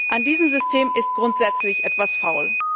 An diesem System ist grundsätzlich etwas faul.